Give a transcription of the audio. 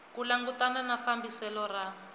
ku langutana na fambiselo ra